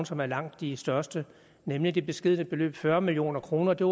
som er langt de største nemlig det beskedne beløb på fyrre million kroner det